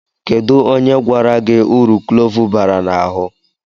Kedụ onye gwara gị uru klove bara n'ahụ?